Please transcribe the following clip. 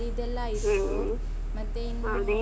ಮತ್ತೆ ಇನ್ನುಳಿದಿದ್ದೆಲ್ಲಾ ಆಯ್ತು. ಮತ್ತೆ ಇನ್ನು.